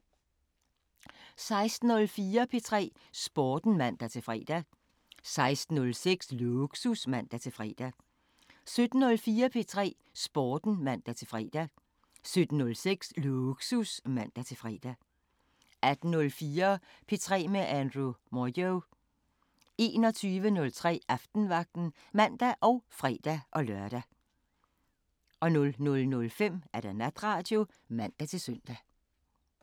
16:04: P3 Sporten (man-fre) 16:06: Lågsus (man-fre) 17:04: P3 Sporten (man-fre) 17:06: Lågsus (man-fre) 18:04: P3 med Andrew Moyo 21:03: Aftenvagten (man og fre-lør) 00:05: Natradio (man-søn)